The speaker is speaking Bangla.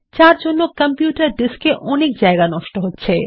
যার জন্য কম্পিউটারের ডিস্ক এ অনেক জায়গা নষ্ট হচ্ছে